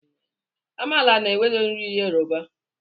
Amala na ewedu bụ nri Yoruba.